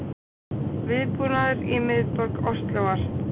Viðbúnaður í miðborg Óslóar